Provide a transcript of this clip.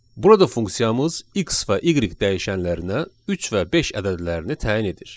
Burada funksiyamız x və y dəyişənlərinə üç və beş ədədlərini təyin edir.